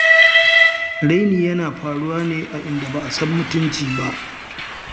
Raini yana faruwa ne a inda ba a san mutunci ba.